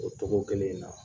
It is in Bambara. O togo kelen in na